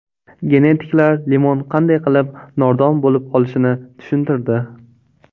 Genetiklar limon qanday qilib nordon bo‘lib qolishini tushuntirdi.